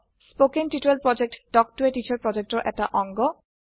কথন শিক্ষণ প্ৰকল্পTalk ত a টিচাৰ প্ৰকল্পৰ এটাঅংগ